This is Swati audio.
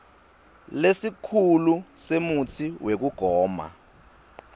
lesikhulu semutsi wekugoma